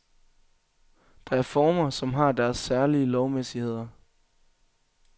Der er former, som har deres særlige lovmæssigheder.